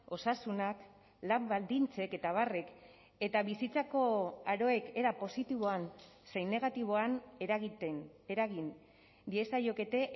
osasunak lan baldintzek eta abarrek eta bizitzako aroek era positiboan zein negatiboan eragiten eragin diezaiokete